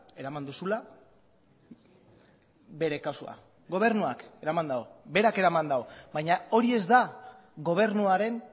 eraman duzula bere kasua gobernuak eraman du berak eraman du baina hori ez da gobernuaren